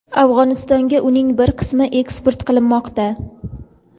Afg‘onistonga uning bir qismi eksport qilinmoqda.